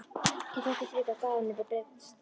Ég þóttist vita að Daða myndi bresta lið.